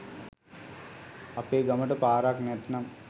අපේ ගමට පාරක් නැත්නම්